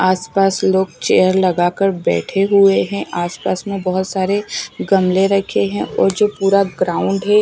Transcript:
आसपास लोग चेयर लगाकर बैठे हुए हैं। आसपास में बहोत सारे गमले रखे हैं और जो पूरा ग्राउंड है--